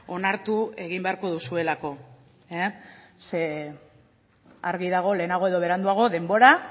onartu egin beharko duzuelako ze argi dago lehenago edo beranduago denbora